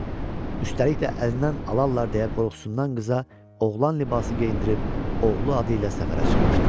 Üstəlik də əlindən alarlar deyə qorxusundan qıza oğlan libası geyindirib oğlu adı ilə səfərə çıxmışdı.